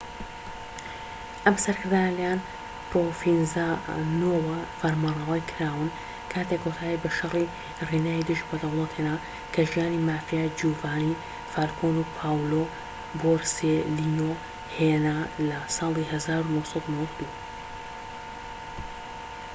ئەم سەرکردانە لە لایەن پرۆڤینزانۆوە فەرمانڕەوایی کراون کاتێک کۆتایی بە شەڕی ڕینای دژ بە دەوڵەت هێنا کە ژیانی مافیا جیوڤانی فالکۆن و پاولۆ بۆرسێلینۆ هێنا لە ساڵی 1992‏.‎